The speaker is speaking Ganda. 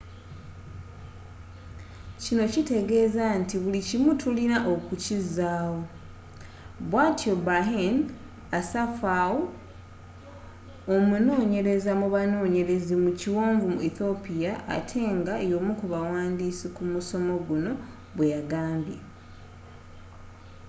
kino kiteegeza nti buli kimu tulina okukizaawo bwatyo berhane asfaw omunonyereza mu banonyerezi mu kiwonvu mu ethiopia ate nga yomukubawandiisi kumusomo guno bweyagambye